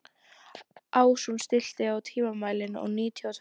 Ásrún, stilltu tímamælinn á níutíu og tvær mínútur.